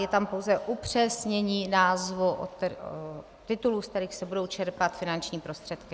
Je tam pouze upřesnění názvů - titulů, z kterých se budou čerpat finanční prostředky.